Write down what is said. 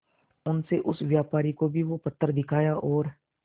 उनसे उस व्यापारी को भी वो पत्थर दिखाया और